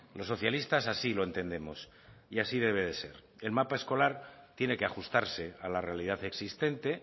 los socialistas así lo entendemos y así debe de ser el mapa escolar tiene que ajustarse a la realidad existente